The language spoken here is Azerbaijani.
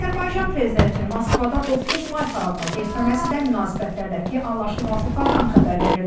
Azərbaycan prezidentinin Moskvada 9 may paradına getməməsi də münasibətlərdəki anlaşılmazlıqlardan xəbər verirdi.